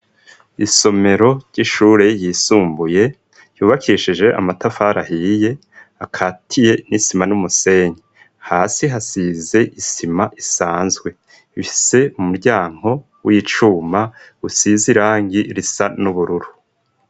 Isomero ry'ishure ryisumbuye ryubakishije amatafari ahiye, akatiye n'isima n'umusenyi. Hasi hasize isima isanzwe. Bifise umuryango w'icuma usize irangi risa n'ubururu.